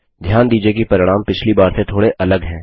ध्यान दीजिये की परिणाम पिछली बार से थोड़े अलग हैं